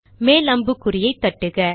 மேல் அம்புக்குறியை தட்டுக